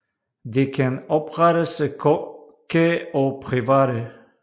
De kan oprettes af kokke og private